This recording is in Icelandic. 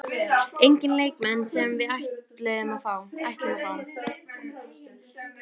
Enginn leikmenn sem við ætlum að fá?